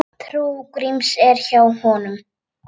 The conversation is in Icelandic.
Trú Gríms er hjá honum.